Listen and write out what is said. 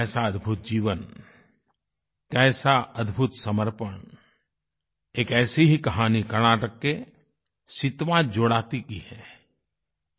कैसा अद्भुत जीवन कैसा अद्भुत समर्पण एक ऐसी ही कहानी कर्नाटक के सितावा जोद्दती सितवा जोड़त्ती की है